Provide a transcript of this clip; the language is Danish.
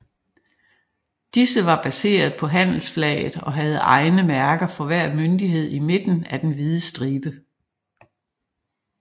Disse var baseret på handelsflaget og havde egne mærker for hver myndighed i midten af den hvide stribe